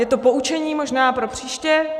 Je to poučení možná pro příště.